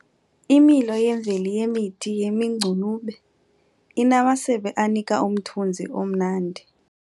Imilo yemvelo yemithi yemingcunube inamasebe anika umthunzi omnandi.